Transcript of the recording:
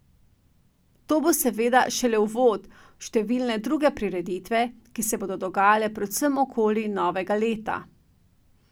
To bo seveda šele uvod v številne druge prireditve, ki se bodo dogajale predvsem okoli novega leta.